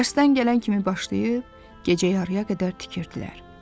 Dərsdən gələn kimi başlayıb, gecə yarıya qədər tikirdilər.